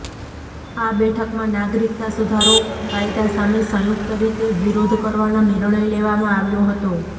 આ બેઠકમાં નાગરિકતા સુધારો કાયદા સામે સંયુક્ત રીતે વિરોધ કરવાનો નિર્ણય લેવામાં આવ્યો હતો